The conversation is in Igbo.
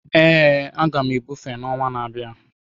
Ee, a ga m ebufe ọnwa na-abịa